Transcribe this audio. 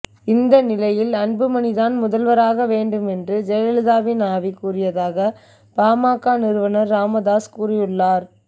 இந்த நிலையில் அன்புமணி தான் முதல்வராக வேண்டும் என்று ஜெயலலிதாவின் ஆவி கூறியதாக பாமக நிறுவனர் ராமதாஸ் கூறியுள்ளார்